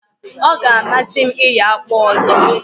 O ga amasi m iyo akpụ ọzọ.